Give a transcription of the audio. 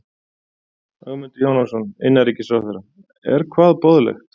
Ögmundur Jónasson, innanríkisráðherra: Er hvað boðlegt?